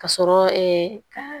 Ka sɔrɔ ka